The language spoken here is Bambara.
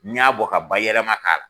N y'a bɔ ka ba yɛlɛma k'a la